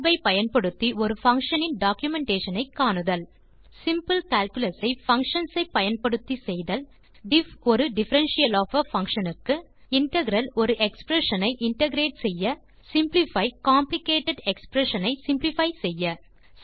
பின் Tab ஐ பயன்படுத்தி ஒரு பங்ஷன் இன் டாக்குமென்டேஷன் ஐ காணுதல் சிம்பிள் கால்குலஸ் ஐ பங்ஷன்ஸ் ஐ பயன்படுத்தி செய்தல் diff ஒரு டிஃபரன்ஷியல் ஒஃப் ஆ functionக்கு integral ஒரு எக்ஸ்பிரஷன் ஐ இன்டகிரேட் செய்ய சிம்ப்ளிஃபை காம்ப்ளிகேட்டட் எக்ஸ்பிரஷன் ஐ சிம்ப்ளிஃபை செய்ய